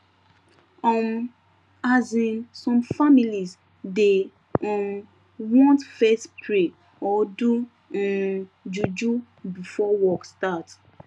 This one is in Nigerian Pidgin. um asin some families dey um want fess pray or do um juju before work start